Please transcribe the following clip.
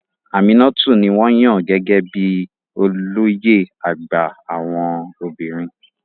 Aminatu ni wọ́n yàn gẹ́gẹ́ bí i olóyè àgbà àwọn obìnrin.